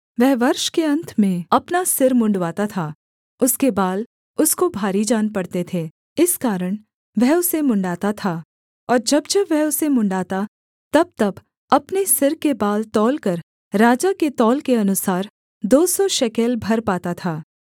वह वर्ष के अन्त में अपना सिर मुँण्डवाता था उसके बाल उसको भारी जान पड़ते थे इस कारण वह उसे मुँण्ड़ाता था और जब जब वह उसे मुँण्ड़ाता तबतब अपने सिर के बाल तौलकर राजा के तौल के अनुसार दो सौ शेकेल भर पाता था